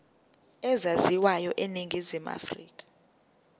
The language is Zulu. ezaziwayo eningizimu afrika